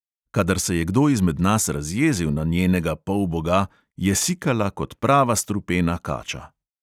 Kadar se je kdo izmed nas razjezil na njenega polboga, je sikala kot prava strupena kača.